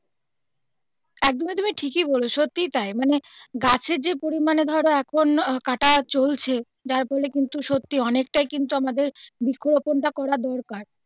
একদমই তুমি ঠিকই বলেছো সত্যি তাই মানে গাছের যে পরিমানে ধরো এখন কাটা চলছে যার ফলে কিন্তু সত্যি অনেকটাই কিন্তু আমাদের বৃক্ষরোপন টা করা দরকার.